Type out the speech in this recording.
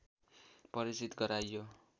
परिचित गराइयो